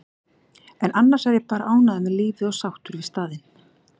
en annars er ég bara ánægður með lífið og sáttur við staðinn.